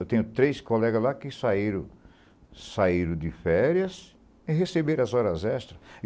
Eu tenho três colegas lá que saíram saíram de férias e receberam as horas extras.